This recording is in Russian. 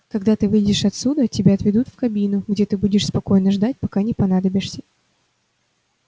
когда ты выйдешь отсюда тебя отведут в кабину где ты будешь спокойно ждать пока не понадобишься